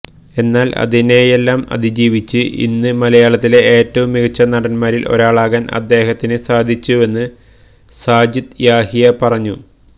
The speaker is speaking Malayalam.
എന്നാൽ അതിനെയെല്ലാം അതിജീവിച്ച് ഇന്ന് മലയാളത്തിലെ ഏറ്റവും മികച്ച നടന്മാരിൽ ഒരാളാകാൻ അദ്ദേഹത്തിന് സാധിച്ചുവെന്ന് സാജിദ് യാഹിയ പറഞ്ഞു